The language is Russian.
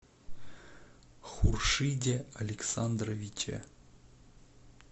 хуршиде александровиче